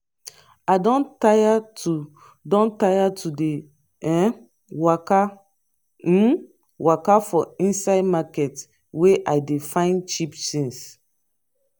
i don tire to don tire to dey um waka um waka for inside market wey i dey find cheap tings